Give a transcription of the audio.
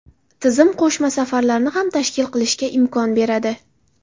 Tizim qo‘shma safarlarni ham tashkil qilishga imkon beradi.